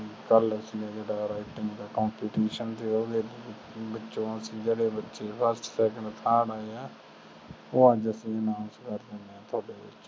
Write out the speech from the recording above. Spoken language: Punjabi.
ਕਲ ਅਸੀਂ ਜਿਹਰਦਾ writing ਦਾ competition ਸੀਗਾ ਜਿਹੜੇ ਬੱਚੇ first second third ਆਏ ਆ ਉਹ ਅੱਜ ਅਸੀਂ announce ਕਰ ਦੇਣੇ ਆ ਤੁਹਾਡੇ ਵਿੱਚੋ